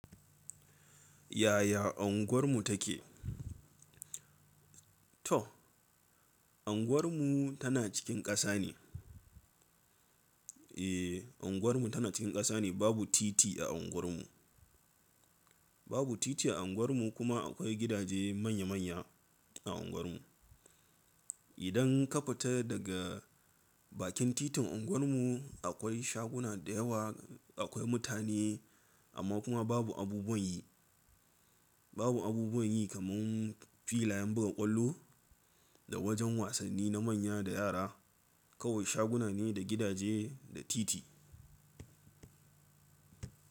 Yaya unguwar mu take? To, unguwar mu tana cikin ƙasa ne. Eh, unguwar mu tana cikin ƙasa ne. Babu titi a unguwar mu. Babu titi a unguwar mu kuma akwai gidaje manya-manya a unguwar mu. Idan ka fita daga bakin titin unguwar mu, akwai shaguna da yawa, akwai mutane amma kuma babu abubuwan yi. Babu abubuwan yi kaman filayen buga ƙwallo da wajan wasanni na manya da yara. Kawai shaguna ne da gidaje da titi.